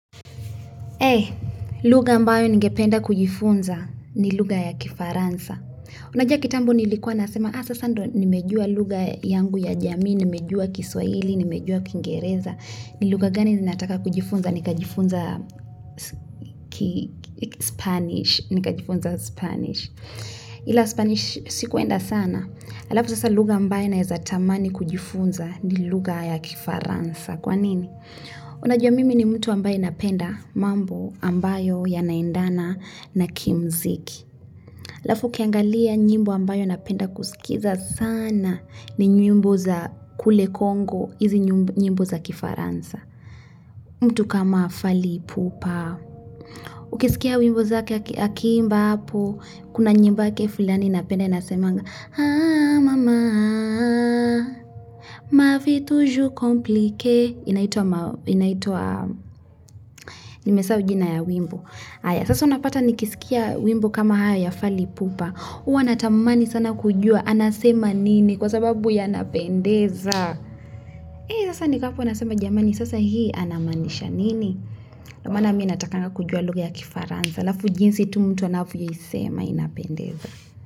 E, luga ambayo ningependa kujifunza ni luga ya kifaransa. Unajua kitambo nilikuwa nasema, ah sasando nimejua luga yangu ya jamii, nimejua kiswaili, nimejua kingereza. Ni lugha gani zinataka kujifunza, nika jifunza spanish, nika jifunza spanish. Ila spanish sikuenda sana, alafu sasa luga ambayo na eza tamani kujifunza ni luga ya kifaransa. Kwa nini? Unajua mimi ni mtu ambayo inapenda mambo ambayo yanaendana na kimziki. Lafu kiangalia njimbo ambayo inapenda kusikiza sana ni nyimbo za kule Kongo, hizi nyimbo za kifaransa. Mtu kama fali ipupa. Ukisikia wimbo zake akimba hapo, kuna nyimbo yake fulani inapenda inasemanga, Haa mama Mavitu juu komplike Inaitua ma Inaitua Nimesa ujina ya wimbo Sasa unapata nikisikia wimbo kama haya ya falipupa Uwa natamani sana kujua Anasema nini kwa sababu ya napendeza Hei sasa niko hapo anasema jamani Sasa hii anamanisha nini Namana miinatakanga kujua lugha ya kifaranza Lafu jinsi tu mtu anafu yisema inapendeza.